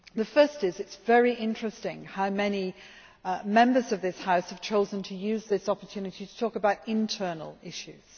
Firstly, it is very interesting how many Members of this House have chosen to use this opportunity to talk about internal issues.